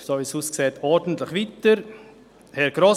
Kommissionssprecher der FiKo.